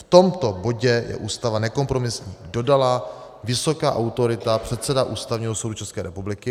V tomto bodě je Ústava nekompromisní, dodala vysoká autorita, předseda Ústavního soudu České republiky.